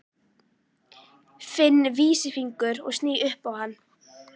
Finn vísifingur og sný upp á hann.